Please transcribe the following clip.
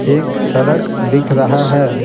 एक सड़क दिख रहा है।